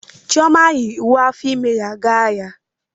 Chioma yi uwe ime ya ga ahịa.